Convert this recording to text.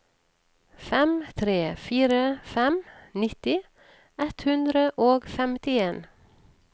fem tre fire fem nitti ett hundre og femtien